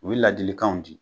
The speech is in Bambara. U ye ladilikanw di.